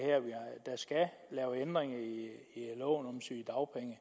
der skal lave ændringer i loven om sygedagpenge